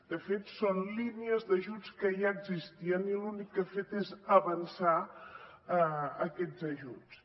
de fet són línies d’ajuts que ja existien i l’únic que ha fet és avançar aquests ajuts